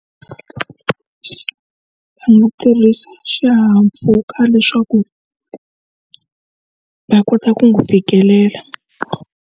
Hi ku tirhisa xihahampfhuka leswaku va kota ku n'wi fikelela.